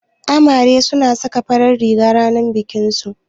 Amare suna saka farar riga ranar bikinsu